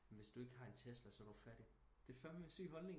Hvis du ikke har en tesla så er du fattig det er fandme en syg holdning